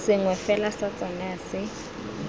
sengwe fela sa tsona se